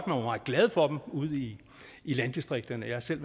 meget glad for dem ude i i landdistrikterne jeg har selv